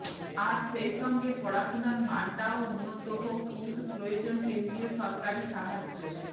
আর সেইসঙ্গে পড়াশোনার মানটাও উন্নত হোক কিন্তু প্রয়োজন কেন্দ্রীয় সরকারি সাহায্য